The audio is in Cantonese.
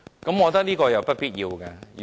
我覺得這是不必要的。